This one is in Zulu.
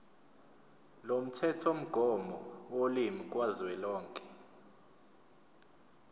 lomthethomgomo wolimi kazwelonke